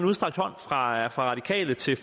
udstrakt hånd fra radikale til